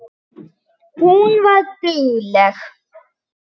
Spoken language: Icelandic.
Hún var dugleg.